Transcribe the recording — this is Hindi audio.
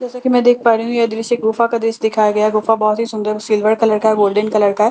जैसा की मैं देख पा रही हूँ ये दृश्य एक गुफा का दृश्य दिखाया गया है गुफा बहोत ही सुंदर सिल्वर कलर का है गोल्डन कलर का है।